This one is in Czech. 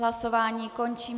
Hlasování končím.